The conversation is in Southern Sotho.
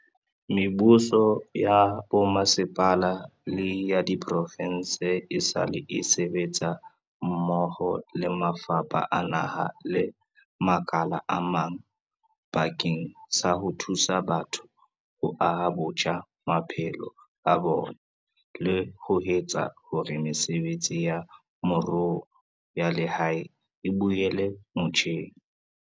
Mebuso ya bomasepala le ya diprovense esale e sebetsa mmoho le mafapha a naha le makala a mang bakeng sa ho thusa batho ho aha botjha maphelo a bona le ho etsa hore mesebetsi ya moruo ya lehae e boela motjheng.